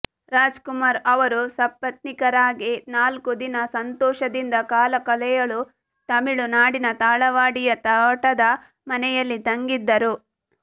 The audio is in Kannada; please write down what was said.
ರಾಜ್ ಕುಮಾರ್ ಅವರು ಸಪತ್ನೀಕರಾಗಿ ನಾಲ್ಕು ದಿನ ಸಂತೋಷದಿಂದ ಕಾಲಕಳೆಯಲು ತಮಿಳುನಾಡಿನ ತಾಳವಾಡಿಯ ತೋಟದ ಮನೆಯಲ್ಲಿ ತಂಗಿದ್ದರು